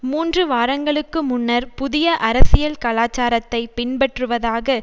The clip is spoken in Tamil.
மூன்று வாரங்களுக்கு முன்னர் புதிய அரசியல் கலாச்சாரத்தை பின்பற்றுவதாக